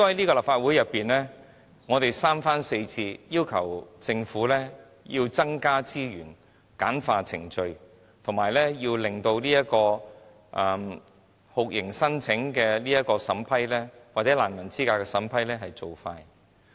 在立法會內，我們三番四次要求政府增加資源、簡化程序，以及加快酷刑聲請或難民資格的審批速度。